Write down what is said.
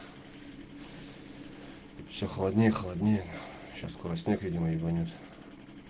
все холоднее и холоднее сейчас скоро снег видимо ебанет